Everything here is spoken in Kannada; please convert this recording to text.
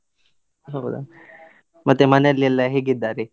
ಹೌದಾ, ಮತ್ತೆ ಮನೇಲಿ ಎಲ್ಲ ಹೇಗಿದ್ದಾರೆ?